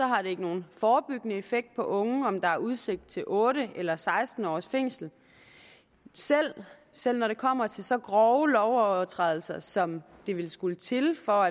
har det ikke nogen forebyggende effekt på unge om der er udsigt til otte eller seksten års fængsel selv selv når det kommer til så grove lovovertrædelser som der ville skulle til for